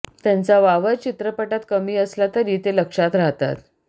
त्यांचा वावर चित्रपटात कमी असला तरी ते लक्षात राहतात